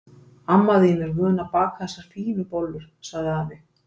Amma þín er vön að baka þessar fínu bollur sagði afi.